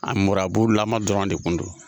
A mirabulama dɔrɔn de kun don